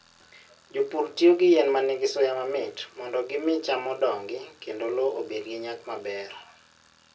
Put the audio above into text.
Jopur tiyo gi yien ma nigi suya mamit mondo gimi cham odongi kendo lowo obed gi nyak maber.